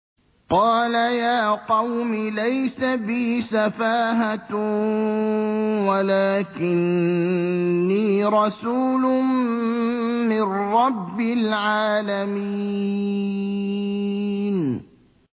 قَالَ يَا قَوْمِ لَيْسَ بِي سَفَاهَةٌ وَلَٰكِنِّي رَسُولٌ مِّن رَّبِّ الْعَالَمِينَ